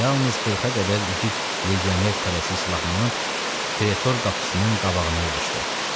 Yalnız 40-a qədər igid legioner tələsik silahlanıb Pretor qapısının qabağına yığışdı.